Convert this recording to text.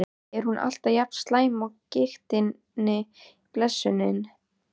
Er hún alltaf jafn slæm af gigtinni, blessunin?